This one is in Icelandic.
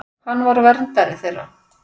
Hann var verndari þeirra.